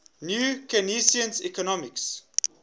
new keynesian economics